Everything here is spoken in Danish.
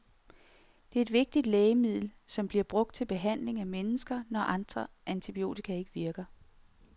Det er et vigtigt lægemiddel, som bliver brugt til behandling af mennesker, når andre antibiotika ikke virker.